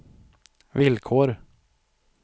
villkor